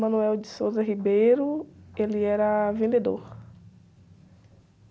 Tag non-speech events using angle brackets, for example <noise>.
<unintelligible> ele era vendedor.